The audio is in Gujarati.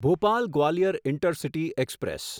Bhopal Gwalior intercity express